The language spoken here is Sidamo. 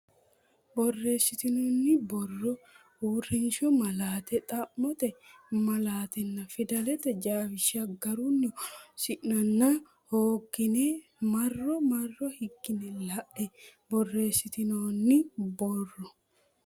Borreessitinoonni borro uurrishshu malaate xa mote malaatenna fidalete jawishsha garunni horoonsi nenna hooga ne marro marro higginne la e Borreessitinoonni borro.